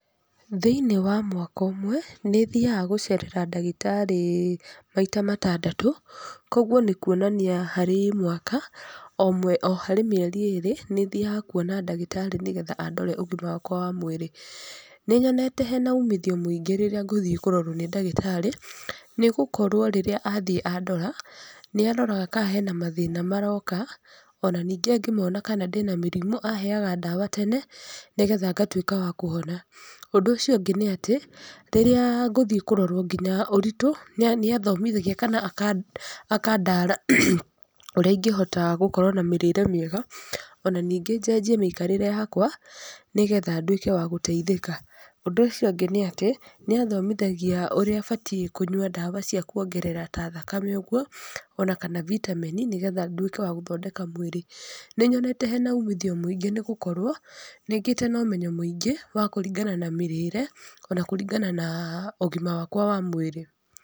Thĩinĩ wa mwaka ũmwe, nĩ thiaga gũcerera ndagĩtarĩ maita matandatũ, koguo nĩ kuonania harĩ mwaka, o harĩ mĩeri ĩrĩ, nĩ thiaga kuonna ndagĩtarĩ nĩgetha andore ũgima wakwa wa mwĩrĩ. Nĩ nyonete hena umithio mũingĩ rĩrĩa ngũthiĩ kũrorwo nĩ ndagĩtarĩ, nĩgũkorwo rĩrĩa athiĩ andora, nĩ aroraga kana hena mathĩna maroka, ona nĩngĩ angĩmona kana ndĩna mĩrimũ aheaga ndawa tene, nĩgetha ngatuĩka wa kũhona. Ũndũ ũcio ũngĩ nĩ atĩ, rĩrĩa ngũthiĩ kũrorwo nginya ũritũ, nĩ athomithagia kana akandara ũrĩa ingĩhota gũkorwo na mĩrĩre mĩega, ona ningĩ njenjie mĩikarĩre yakwa nĩgetha nduĩke wa gũteithĩka. Ũndũ ũcio ũngĩ nĩ atĩ, nĩ athomithagia ũrĩa batiĩ kũnyua ndawa cia kuongerera ta thakame ũguo, ona kana vitameni, nĩgetha nduĩke wa gũthondeka mwĩrĩ. Nĩ nyonete hena umithio mũingĩ nĩgũkorwo, nĩngĩte na ũmenyo mũingĩ wa kũringana na mĩrĩre ona kũringana na ũgima wakwa wa mwĩrĩ.